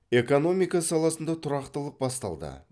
экономика саласында тұрақтылық басталды